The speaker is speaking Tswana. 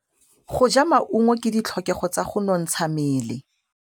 Go ja maungo ke ditlhokegô tsa go nontsha mmele.